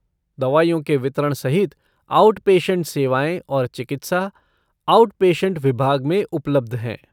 दवाइयों के वितरण सहित आउटपेशेन्ट सेवाएँ और चिकित्सा, आउटपेशेन्ट विभाग में उपलब्ध हैं।